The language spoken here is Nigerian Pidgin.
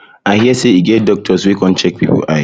i hear say e get doctors wey come check people eye